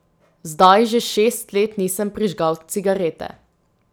Zdaj že šest let nisem prižgal cigarete.